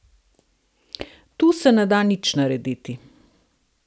Tu se ne da nič narediti!